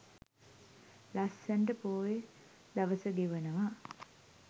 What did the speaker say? ලස්සනට පෝය දවස ගෙවනවා.